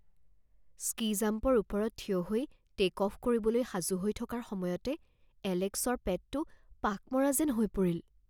ski জাম্পৰ ওপৰত থিয় হৈ টে'ক অফ কৰিবলৈ সাজু হৈ থকাৰ সময়তে এলেক্সৰ পেটটো পাক মৰা যেন হৈ পৰিল